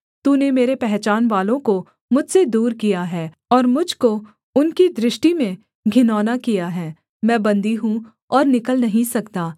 तूने मेरे पहचानवालों को मुझसे दूर किया है और मुझ को उनकी दृष्टि में घिनौना किया है मैं बन्दी हूँ और निकल नहीं सकता